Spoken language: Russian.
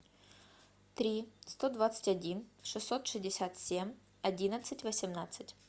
три сто двадцать один шестьсот шестьдесят семь одиннадцать восемнадцать